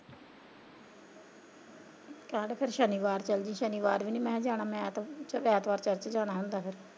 ਕਹਿਣ ਡੇਆ ਫਿਰ ਸ਼ਨੀਵਾਰ ਚੱਲਜੀ ਸ਼ਨੀਵਾਰ ਵੀ ਨਹੀਂ ਮੈਂ ਜਾਣਾ ਮੈਂ ਕਿਹਾ ਐਤਵਾਰ ਮੈਂ ਚਰਚ ਜਾਣਾ ਹੁੰਦਾ ਫਿਰ।